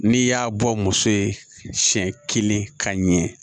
N'i y'a bɔ muso ye siɲɛ kelen ka ɲɛ